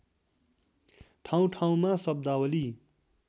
ठाउँठाउँमा शब्दावली